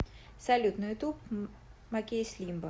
салют на ютуб макейс лимбо